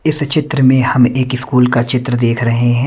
इस चित्र में हम एक स्कूल का चित्र देख रहे है।